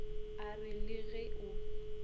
a re le ge o